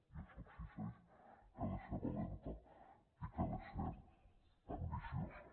i això exigeix que ha de ser valenta i que ha de ser ambiciosa